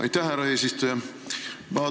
Aitäh, härra eesistuja!